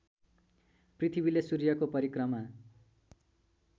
पृथ्वीले सूर्यको परिक्रमा